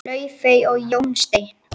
Laufey og Jón Steinn.